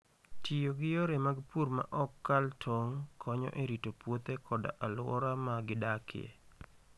Tiyo gi yore mag pur ma ok kal tong' konyo e rito puothe koda alwora ma gidakie.